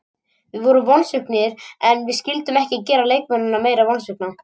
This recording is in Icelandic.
Við vorum vonsviknir en við vildum ekki gera leikmennina meira vonsvikna.